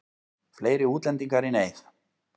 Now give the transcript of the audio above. Fleiri útlendingar í neyð